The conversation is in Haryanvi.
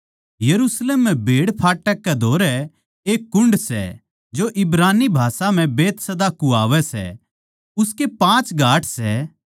यरुशलेम म्ह भेड़फाटक कै धोरै एक कुण्ड सै जो इब्रानी भाषा म्ह बैतहसदा कुह्वावै सै उसके पाँच घाट सै